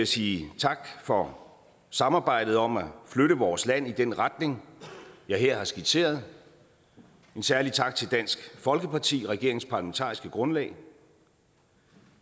sige tak for samarbejdet om at flytte vores land i den retning jeg her har skitseret en særlig tak til dansk folkeparti regeringens parlamentariske grundlag